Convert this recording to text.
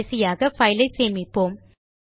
கடைசியாக பைல் ஐ சேமிப்போம்